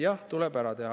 Jah, tuleb ära teha.